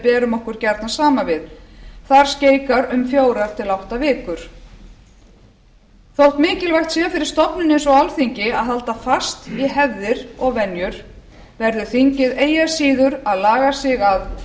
berum okkur gjarnan saman við þar skeikar um fjögur til átta vikur þótt mikilvægt sé fyrir stofnun eins og alþingi að halda fast í hefðir og venjur verður þingið eigi að síður að laga sig að